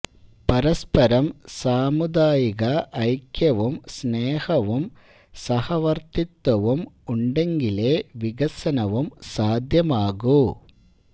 പരസ്പരം സാമുദായിക ഐക്യവും സ്നേഹവും സഹവര്ത്തിത്വവും ഉണ്ടെങ്കിലേ വികസനവും സാധ്യമാകൂ